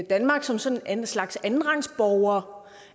danmark som sådan en slags andenrangsborgere